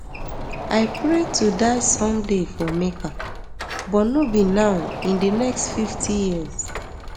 i pray to die someday for mecca but no be now in di next fifty years